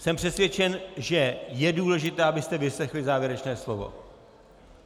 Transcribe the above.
Jsem přesvědčen, že je důležité, abyste vyslechli závěrečné slovo.